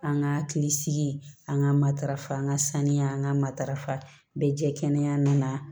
An ka hakili sigi an ka matarafa an ka saniya an ka matarafa bɛɛ jɛ kɛnɛya na